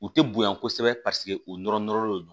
U tɛ bonya kosɛbɛ paseke u nɔrɔ nɔrɔlen do